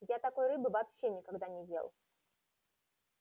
я такой рыбы вообще никогда не ел